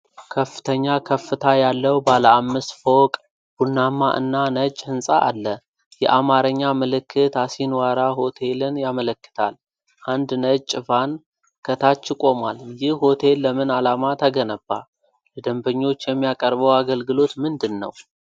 ከፍተኛ ከፍታ ያለው ባለ አምስት ፎቅ፣ ቡናማ እና ነጭ ህንፃ አለ። የአማርኛ ምልክት “አሲንዋራ ሆቴል”ን ያመለክታል። አንድ ነጭ ቫን ከታች ቆሟል። ይህ ሆቴል ለምን ዓላማ ተገነባ? ለደንበኞች የሚያቀርበው አገልግሎት ምንድን ነው?